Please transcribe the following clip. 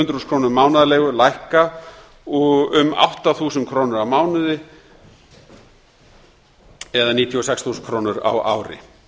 hundruð þúsund króna mánaðarleigu lækka um átta þúsund krónur á mánuði það er níutíu og sex þúsund krónur á ári